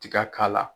Tiga k'a la